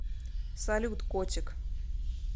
салют котик